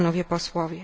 tym Romów.